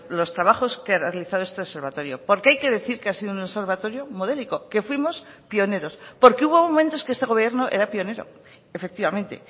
los trabajos que ha realizado este observatorio porque hay que decir que ha sido un observatorio modélico que fuimos pioneros porque hubo momentos que este gobierno era pionero efectivamente